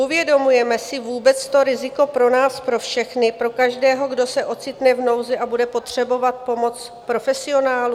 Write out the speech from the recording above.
Uvědomujeme si vůbec to riziko pro nás pro všechny, pro každého, kdo se ocitne v nouzi a bude potřebovat pomoc profesionálů?